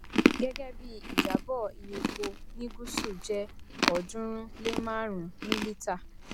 gẹgẹ bí ìjábọ iye epo ní gúsù jẹ ọọdúnrún lé márùnún ní lítà